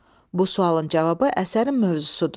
Bu sualın cavabı əsərin mövzusudur.